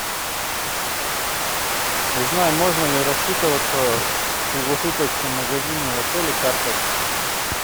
узнай можно ли рассчитываться в круглосуточном магазине в отеле картой